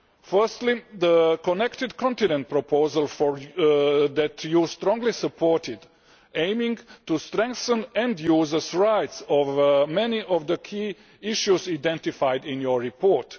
Firstly, the Connected Continent proposal that you strongly supported aiming to strengthen end users' rights concerning many of the key issues identified in your report.